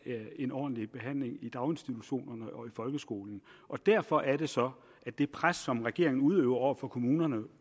en ordentlig behandling i daginstitutionerne og folkeskolen derfor er det så at det pres som regeringen udøver over for kommunerne